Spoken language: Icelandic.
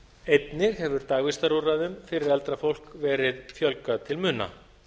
einnig hefur dagvistarúrræðum fyrir eldra fólk verið fjölgað til muna